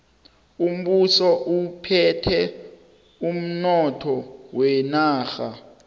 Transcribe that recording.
umbuso uphethe umnotho wenarha